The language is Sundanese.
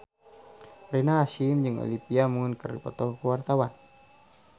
Rina Hasyim jeung Olivia Munn keur dipoto ku wartawan